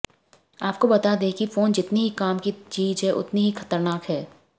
आपको बता दें की फ़ोन जितनी ही काम की चीज है उतनी ही खतरनाक है